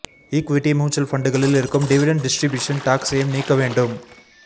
equity mutual ஃபண்டுகளில் இருக்கும் dividend distribution டாக்ஸையும் நீக்க வேண்டும்